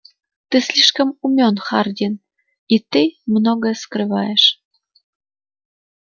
ты слишком умён хардин и ты многое скрываешь